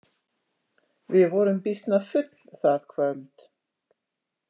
Við vorum býsna full það kvöld.